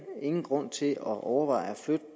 er ingen grund til at overveje at flytte